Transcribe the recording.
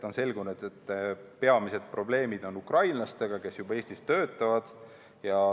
On selgunud, et peamised probleemid on ukrainlastega, kes juba Eestis töötavad.